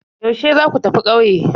Yaushe za ku tafi ƙauye?